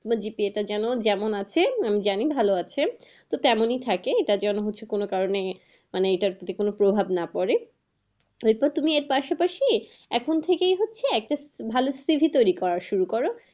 তুমি যেটা জানো, যেমন আছে জানি ভালো আছে। তো তেমনি থাকে এটা যেন হচ্ছে কোনো কারণে মানে এটাতে কোনো প্রভাব না পরে এরপর তুমি এর পাশাপাশি এখন থেকেই হচ্ছে এখন ভালো cv তৈরী করা শুরু করো